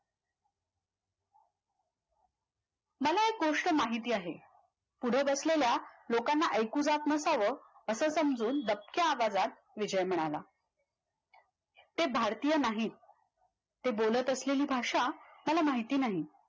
मला एक गोष्ट माहिती आहे पुढे बसलेल्या लोकांना ऐकू जात नसावं असं समजून दबक्या आवाजात विजय म्हणाला ते भारतीय नाहीत ते बोलत असलेली भाषा मला माहिती नाही